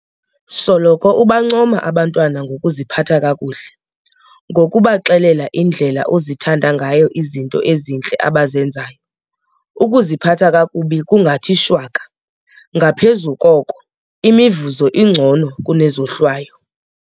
Soloko ubancoma abantwana ngokuziphatha kakuhle. Ngokubaxelela indlela ozithanda ngayo izinto ezintle abazenzayo, ukuziphatha kakubi kungathi shwaka. Ngaphezu koko, imivuzo ingcono kune zohlwayo.